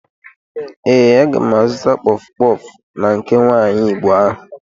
Ee, aga m azụta kpọf kpọf na nke nwaanyi igbo ahụ.